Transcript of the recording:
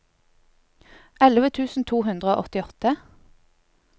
elleve tusen to hundre og åttiåtte